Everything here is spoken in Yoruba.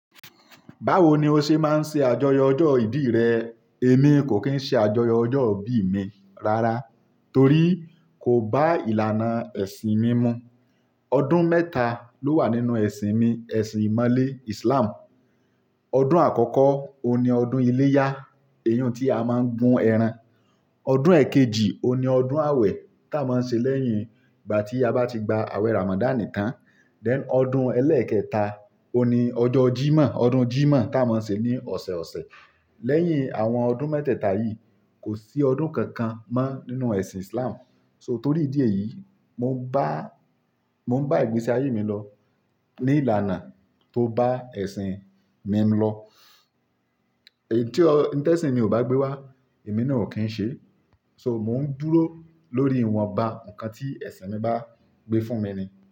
Báwo ni o ṣe máa ń ṣe àjọyọ̀ ọjọ́ ìbí rẹ? Èmi kò kì í ṣe àjọyọ̀ ọjọ́ ìbí mi rárá torí kò bá ìlànà ẹ̀sìn mi mu. Ọdún mẹ́ta ló wà nínú ẹ̀sìn mi, ẹ̀sìn ìmọ̀le, Islam. Ọdún àkọ́kọ́, ó ní ọdún iléyá, eyún tí a máa ń gún ẹran. Ọdún èkejì, ó ní ọdún àwẹ̀ tí a máa ń ṣe lẹ́yìn ìgbà tí a bá ti gba àwẹ̀ Ramadan tán. Then ọdún ẹlẹ́ẹ̀kẹta, ó ní ọjọ́ Jímọ̀, ọdún Jímọ̀ tí a máa ń ṣe ní ọ̀sẹ̀ ọ̀sẹ̀. Lẹ́yìn àwọn ọdún mẹ́tẹ́ẹ̀ta yìí kò sí ọdún kankan mọ́ nínú ẹ̀sìn Islam. So torí ìdí èyí, mo ń bá, mo ń bá ìgbésí ayé mi lọ ní ìlànà tó bá ẹ̀sìn mi lọ. Èyí tí ọ̀, tí ẹ̀sìn mi ò bá gbé wá, èmi náà kò kín ṣe. So mò ń dúró lórí ìwọnba nǹkan tí ẹ̀sìn mi bá gbé fún mi ni.